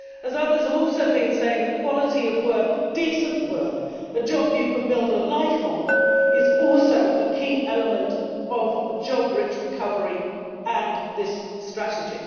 As others have also been saying, the quality of work decent work, a job you can build a life on is also a key element of a job rich recovery and this strategy.